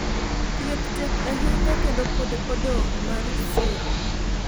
thieth tek ahinya kendo pod odong' mar siro